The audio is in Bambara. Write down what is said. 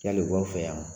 Yali u b'aw fɛ yan wa